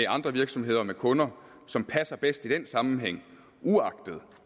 andre virksomheder og med kunder som passer bedst i den sammenhæng uagtet